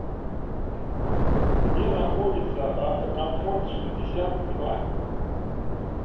где находится авто комфорт шестьдесят два